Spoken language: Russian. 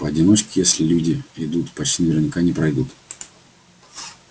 поодиночке если люди идут почти наверняка не пройдут